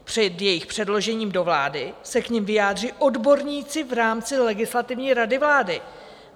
Před jejich předložením do vlády se k nim vyjádří odborníci v rámci Legislativní rady vlády."